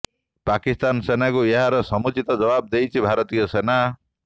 ପାକିସ୍ତାନ ସେନାକୁ ଏହାର ସମୁଚ୍ଚିତ ଜବାବ ଦେଇଛି ଭାରତୀୟ ସେନା